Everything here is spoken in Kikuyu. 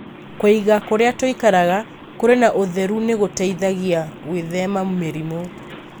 Kũiga kũrĩa tũikaraga kũrĩ na ũtheru nĩ gũtũteithagia gwĩthema mĩrimũ.